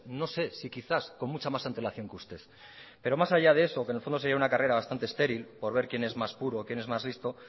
no sé si quizás con mucha más antelación que usted pero más allá de eso que en el fondo sería una carrera bastante estéril por ver quién es más puro o quién es más listo